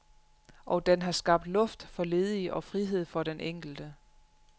Og den har skabt luft for ledige og frihed for den enkelte.